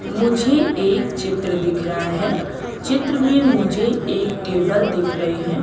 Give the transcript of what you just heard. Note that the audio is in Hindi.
मुझे एक चित्र दिख रहा है चित्र में मुझे एक टेबल दिख रही है।